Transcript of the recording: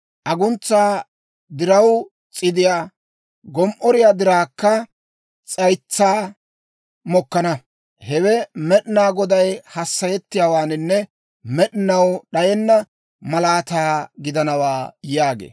Aguntsaa diraw s'iidday, gom"oriyaa diraakka s'aytsay mokkana. Hewe Med'inaa Goday hassayettiyaawaanne med'inaw d'ayenna malaataa gidanawaa» yaagee.